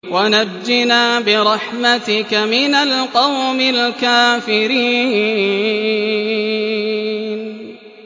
وَنَجِّنَا بِرَحْمَتِكَ مِنَ الْقَوْمِ الْكَافِرِينَ